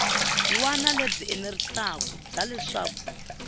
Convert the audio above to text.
wana lebyi enerisaku bya leswaku